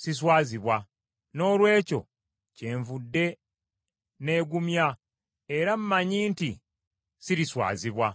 siswazibwa. Noolwekyo kyenvudde n’egumya era mmanyi nti siriswazibwa.